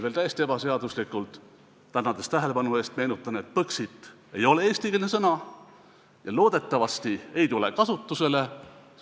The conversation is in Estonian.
Veel täiesti ebaseaduslikult tänades tähelepanu eest meenutan, et "Põxit" ei ole eestikeelne sõna ja loodetavasti ei tule kasutusele.